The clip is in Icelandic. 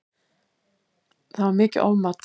Það var mikið ofmat